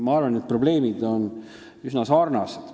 Ma arvan, et need probleemid on üsna sarnased.